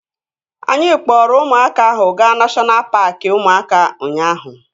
Anyị kpọrọ ụmụaka ahụ gaa neshọna paaki ụmụaka ụnyaahụ